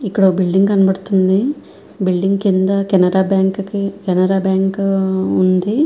ఒక బిల్డింగ్ కనబడుతూ వుంది. బిల్డింగ్ కింద కెనర కెనర బ్యాంకు కనిపిస్తూ వుంది.